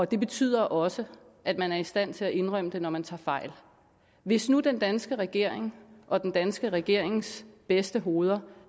det betyder også at man er i stand til at indrømme det når man tager fejl hvis nu den danske regering og den danske regerings bedste hoveder